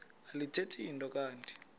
alithethi nto kanti